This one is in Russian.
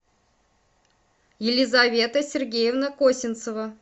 елизавета сергеевна косинцева